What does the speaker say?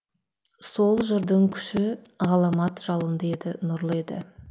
сол жырдың күші ғаламат жалынды еді нұрлы еді